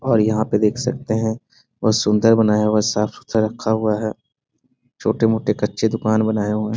और यहाँ पे देख सकते हैं बहुत सुन्दर बनाया हुआ है साफ़ सुथरा रखा हुआ है। छोटे-मोटे कच्चे दुकान बनायें हुए हैं।